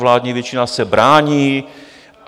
Vládní většina se brání.